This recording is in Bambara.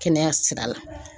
Kɛnɛya sira la.